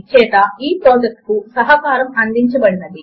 చేత ఈ ప్రాజెక్ట్ కు సహకారము అందించబడినది